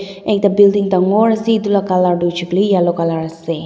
ekta building dangor ase edu la colour tu hoishey koilae yellow colour ase.